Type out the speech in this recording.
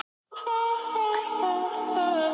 Frábært efni, en átti því miður slakan dag.